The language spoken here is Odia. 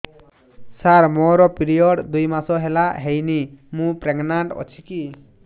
ସାର ମୋର ପିରୀଅଡ଼ସ ଦୁଇ ମାସ ହେଲା ହେଇନି ମୁ ପ୍ରେଗନାଂଟ ଅଛି କି